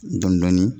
Dɔndɔni